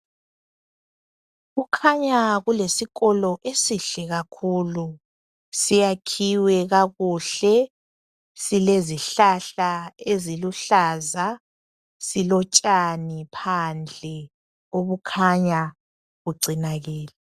Kukhanya kulesikolo esihle kakhulu siyakhiwe kakuhle silezihlahla eziluhlaza silotshani phandle obukhanya bugcinakele